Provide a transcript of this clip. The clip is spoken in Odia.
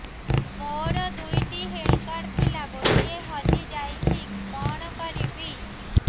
ମୋର ଦୁଇଟି ହେଲ୍ଥ କାର୍ଡ ଥିଲା ଗୋଟିଏ ହଜି ଯାଇଛି କଣ କରିବି